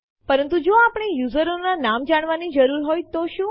પરંતુ જો આપણે યુઝરો ના નામ જાણવાની જરૂર હોય તો શું